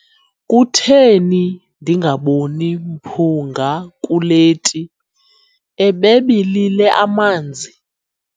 Kutheni ndingaboni mphunga kule ti, ebebilile amanzi?